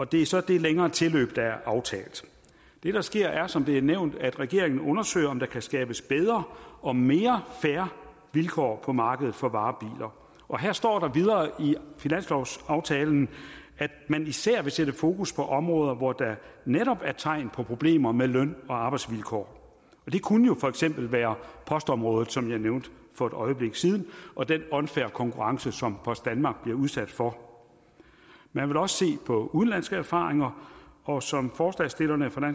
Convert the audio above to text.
det er så det længere tilløb der er aftalt det der sker er som det er nævnt at regeringen undersøger om der kan skabes bedre og mere fair vilkår på markedet for varebiler og her står der videre i finanslovsaftalen at man især vil sætte fokus på områder hvor der netop er tegn på problemer med løn og arbejdsvilkår det kunne jo for eksempel være postområdet som jeg nævnte for et øjeblik siden og den unfair konkurrence som post danmark bliver udsat for man vil også se på udenlandske erfaringer og som forslagsstillerne fra